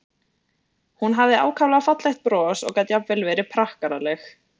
Hún hafði ákaflega fallegt bros og gat jafnvel verið prakkaraleg.